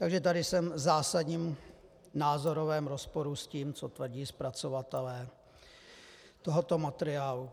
Takže tady jsem v zásadním názorovém rozporu s tím, co tvrdí zpracovatelé tohoto materiálu.